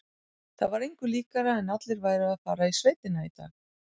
Það var engu líkara en allir væru að fara í sveitina í dag.